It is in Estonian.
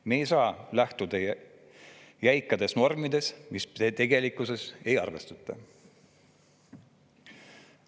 Me ei saa lähtuda jäikadest normidest, mis tegelikkust ei arvestata.